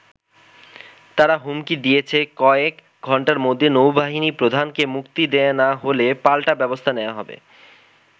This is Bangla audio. তারা হুমকি দিয়েছে, কয়েক ঘণ্টার মধ্যে নৌ-বাহিনী প্রধানকে মুক্তি দেয়া না হলে পাল্টা ব্যবস্থা নেয়া হবে।